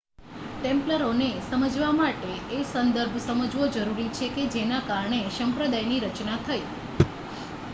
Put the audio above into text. ટેમ્પ્લરોને સમજવા માટે એ સંદર્ભ સમજવો જરૂરી છે જેના કારણે સંપ્રદાયની રચના થઈ